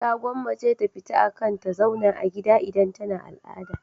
Ta gwammace ta fita akan ta zauna a gida idan tana al'ada.